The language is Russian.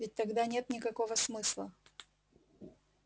ведь тогда нет никакого смысла